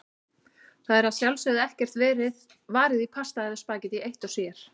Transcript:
Það er að sjálfsögðu ekkert varið í pasta eða spaghetti eitt sér.